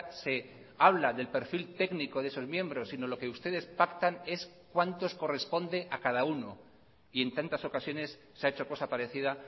se habla del perfil técnico de sus miembros sino lo que ustedes pactan es cuántos corresponde a cada uno y en tantas ocasiones se ha hecho cosa parecida